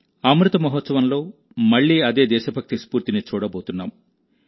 అమృత మహోత్సవంలో మళ్లీ అదే దేశభక్తి స్ఫూర్తిని చూడబోతున్నాం